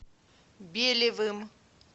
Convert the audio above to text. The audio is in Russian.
белевым